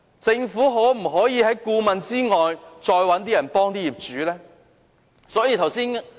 政府可否在顧問以外再找一些人協助業主呢？